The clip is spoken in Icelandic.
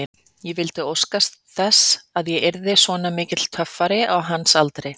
Ég vildi óska þess að ég yrði svona mikill töffari á hans aldri.